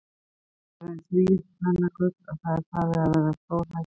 Þú ert orðinn þvílíkt kvennagull að það er farið að verða stórhættulegt.